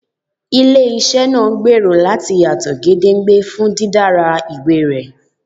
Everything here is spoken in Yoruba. Ile-iṣẹ ngbero lati Duro yato gedengbe fun didara iwe rẹ